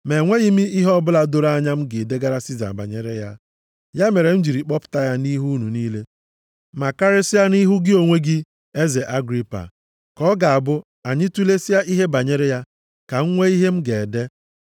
Ma enweghị m ihe ọbụla doro anya m ga-edegara Siza banyere ya. Ya mere m jiri kpọpụta ya nʼihu unu niile, ma karịsịa nʼihu gị onwe gị eze Agripa, ka ọ ga-abụ anyị tulesịa ihe banyere ya, ka m nwee ihe m ga-ede.